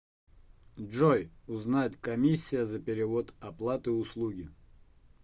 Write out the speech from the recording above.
джой узнать комиссия за перевод оплаты услуги